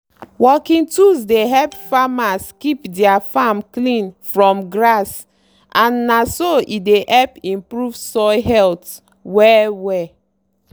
working tools dey help farmers keep their farm clean from grass and na so e dey help improve soil health well-well